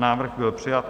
Návrh byl přijat.